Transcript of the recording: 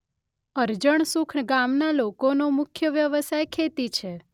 અરજણસુખ ગામના લોકોનો મુખ્ય વ્યવસાય ખેતી છે.